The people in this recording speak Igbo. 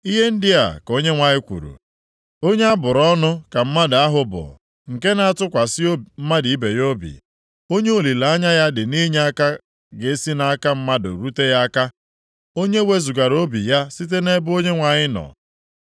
Ihe ndị a ka Onyenwe anyị kwuru, “Onye a bụrụ ọnụ ka mmadụ ahụ bụ nke na-atụkwasị mmadụ ibe ya obi, onye olileanya ya dị nʼinyeaka ga-esi nʼaka mmadụ rute ya aka, onye wezugara obi ya site nʼebe Onyenwe anyị nọ.